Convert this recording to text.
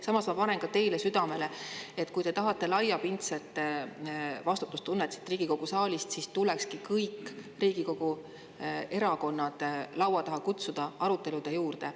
Samas ma panen ka teile südamele, et kui te tahate laiapindset vastutustunnet siit Riigikogu saalist, siis tulekski kõik Riigikogu erakonnad laua taha kutsuda arutelude juurde.